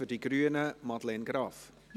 Für die Grünen Madeleine Graf.